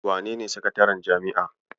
Wenene sakataren jami'a?